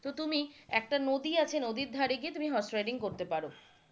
তো তুমি একটা নদী আছে তুমি নদীর ধারে গিয়ে হর্স রাইডিং করতে পারো,